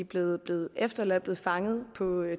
blevet blevet efterladt blevet fanget på